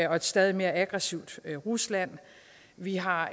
og et stadig mere aggressivt rusland vi har